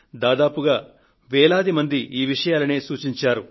దాదాపుగా వేలాది మంది ఈ విషయాలనే సూచించారు